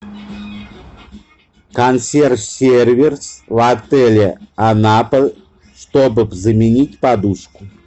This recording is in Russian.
консьерж сервис в отеле анапа чтобы заменить подушку